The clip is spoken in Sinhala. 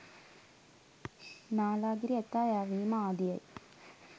නාලාගිරි ඇතා යැවීම ආදියයි.